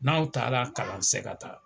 N'aw taara kalan se ka taa.